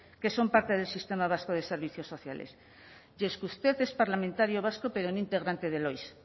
que son parte del sistema vasco de servicios sociales y es que usted es parlamentario vasco pero un integrante del oiss